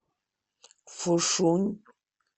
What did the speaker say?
фушунь